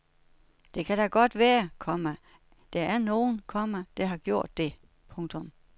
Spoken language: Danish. Det kan da godt være, komma der er nogen, komma der har gjort det. punktum